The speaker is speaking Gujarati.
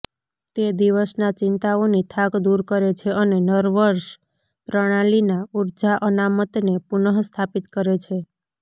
તે દિવસના ચિંતાઓની થાક દૂર કરે છે અને નર્વસ પ્રણાલીના ઊર્જા અનામતને પુનઃસ્થાપિત કરે છે